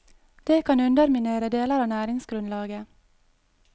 Det kan underminere deler av næringsgrunnlaget.